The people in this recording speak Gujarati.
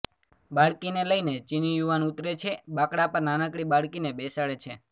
બાળકીને લઈને ચીની યુવાન ઊતરે છે બાંકડા પર નાનકડી બાળકીને બેસાડે છે